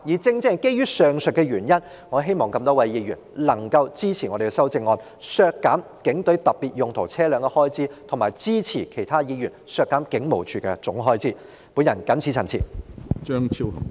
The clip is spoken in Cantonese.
正正基於上述原因，我希望各位議員能夠支持我們的修正案，削減警隊特別用途車輛的預算開支，並支持其他議員削減警務處其他預算開支的修正案。